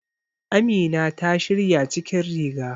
Amina ta shirya cikin riga.